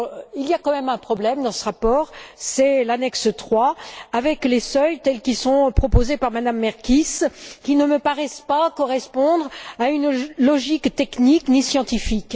Il y a tout de même un problème dans ce rapport, c'est l'annexe III, avec les seuils tels qu'ils sont proposés par Mme Merkies qui ne me paraissent pas correspondre à une logique technique, ni scientifique.